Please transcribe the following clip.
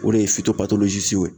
O de ye